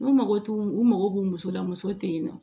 U mago t'u u mago b'u musola mɔgɔ tɛ yen nɔ